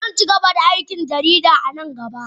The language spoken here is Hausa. Zan ci gaba da aikin jarida a nan gaba